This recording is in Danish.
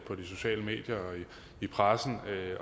på de sociale medier og i pressen